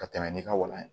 Ka tɛmɛ ni ka walan ye